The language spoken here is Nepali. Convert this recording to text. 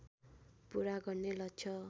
पुरा गर्ने लक्ष्य